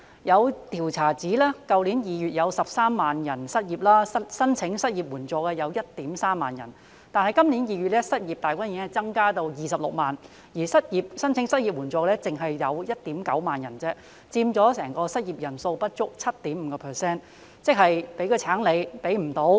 有調查指去年2月有13萬人失業 ，13,000 人申請失業援助；但今年2月，失業大軍已增至26萬人，而申請失業援助的卻只有 19,000 人，佔整體失業人數不足 7.5%。